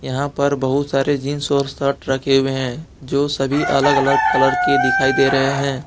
यहां पर बहुत सारे जींस और शर्ट रखें हुए हैं जो सभी अलग अलग कलर के दिखाई दे रहे हैं।